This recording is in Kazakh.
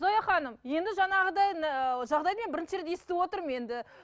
зоя ханым енді жаңағыдай ыыы жағдайды мен бірінші рет естіп отырмын енді